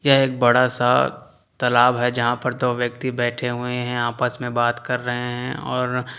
यह एक बड़ा सा तालाब है जहां पर दो व्यक्ति बैठे हुए हैं आपस में बात कर रहे हैं और--